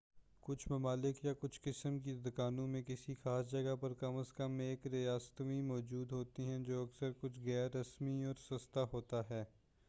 کچھ ممالک یا کچھ قسم کی دکانوں میں کسی خاص جگہ پر کم از کم ایک ریستوراں موجود ہوتا ہے جو اکثر کچھ غیر رسمی اور سستا ہوتا ہے